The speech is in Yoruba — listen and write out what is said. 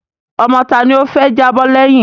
Ọmọ tá ni ó fẹ́ jábọ́ lẹ́yìn?